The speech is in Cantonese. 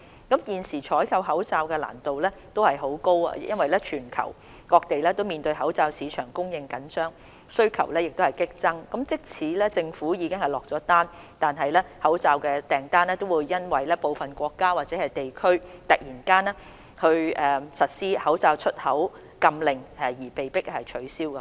現時採購口罩難度很高，因為全球各地都面對口罩市場供應緊張，需求激增，即使政府已經落單，口罩訂單亦會因為部分國家或地區突然實施口罩出口禁令而被迫取消。